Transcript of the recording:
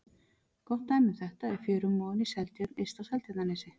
Gott dæmi um þetta er fjörumórinn í Seltjörn yst á Seltjarnarnesi.